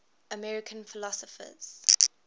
american philosophers